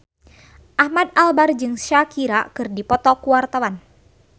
Ahmad Albar jeung Shakira keur dipoto ku wartawan